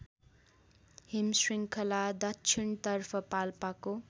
हिमशृङ्खला दक्षिणतर्फ पाल्पाको